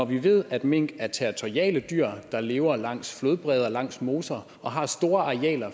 vi ved at mink er territoriale dyr der lever langs flodbredder langs moser og har store arealer